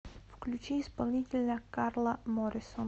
включи исполнителя карла морисон